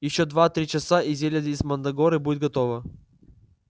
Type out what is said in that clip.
ещё два-три часа и зелье из мандрагоры будет готово